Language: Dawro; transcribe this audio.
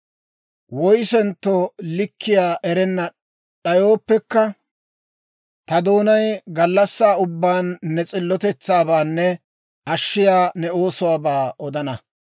Woyissentto likkiyaa erana d'ayooppekka, ta doonay gallassaa ubbaan ne s'illotetsaabaanne ashshiyaa ne oosuwaabaa odana.